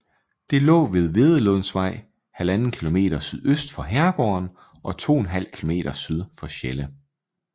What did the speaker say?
Det lå ved Wedelslundvej 1½ km sydøst for herregården og 2½ km syd for Sjelle